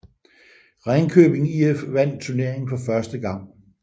Ringkøbing IF vandt turneringen for første gang